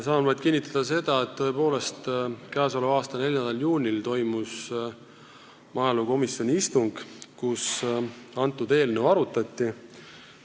Saan vaid kinnitada seda, et tõepoolest, k.a 4. juunil toimus maaelukomisjoni istung, kus seda eelnõu arutati.